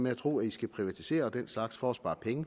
at tro at de skal privatisere og den slags for at spare penge